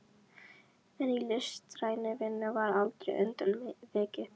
En í listrænni vinnu var aldrei undan vikið.